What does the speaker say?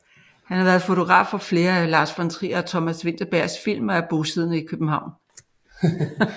Han har været fotograf på flere af Lars von Trier og Thomas Vinterbergs film og er bosiddende i København